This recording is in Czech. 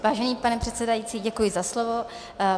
Vážený pane předsedající, děkuji za slovo.